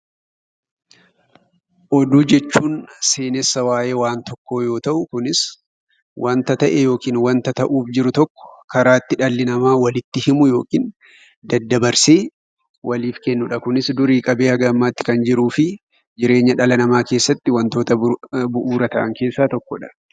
Oduu jechuun seenessa waayee waan tokkoo yoo ta'u, kunis wanta ta'e yookiin wanta ta'uuf jiru tokko karaa itti dhalli namaa walitti himu yookiin daddabarsee waliif kennudha. Kunis durii qabee haga ammaatti kan jiruu fi jireenya dhala namaa keessatti wantoota bu'uura ta'an keessaa tokkodha.